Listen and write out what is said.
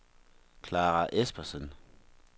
Clara Espersen